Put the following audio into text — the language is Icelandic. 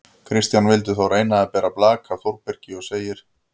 Kristján vildi þó reyna að bera blak af Þórbergi og segir: